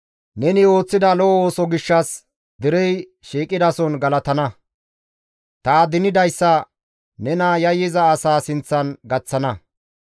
Neni ooththida lo7o ooso gishshas, derey shiiqidason galatana; ta adinidayssa nena yayyiza asaa sinththan gaththana.